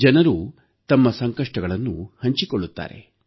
ಜನರು ತಮ್ಮ ಸಂಕಷ್ಟಗಳನ್ನು ಹಂಚಿಕೊಳ್ಳುತ್ತಾರೆ